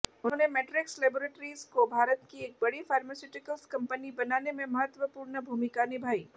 उन्होंने Matrix Laboratories को भारत की एक बड़ी फार्मास्यूटिकल्स कंपनी बनाने में महत्वपूर्ण भूमिका निभाई